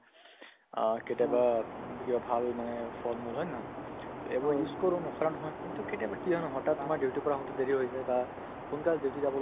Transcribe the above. আহ্, কেতিয়াবা উম কি হয় ভাল মানে ফল-মূল হয়নে নহয় তে এইবোৰ use কৰো নকৰা নহয় কিন্তু কেতিয়াবা কি হয় নহয় হঠাৎ তোমাৰ duty ৰ পৰা আহোতে দেৰি হৈ যায় বা সোনকালে duty যাব লগি